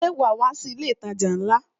Ṣé wa wá sí ilé itaja ńlá?